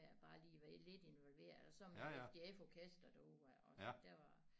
Med at bare lige være lidt involveret og så med FDF orkesteret uha også det var